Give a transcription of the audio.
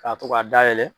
K'a to k'a dayɛlɛ